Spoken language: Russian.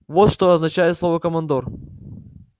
вот что означает слово командор